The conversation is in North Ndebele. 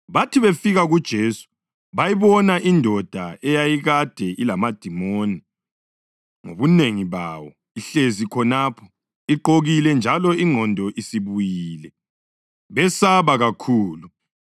Bathi befika kuJesu bayibona indoda eyayikade ilamadimoni ngobunengi bawo, ihlezi khonapho, igqokile njalo ingqondo isibuyile, besaba kakhulu.